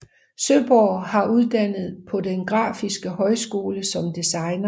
Søborg var uddannet på Den Grafiske Højskole som designer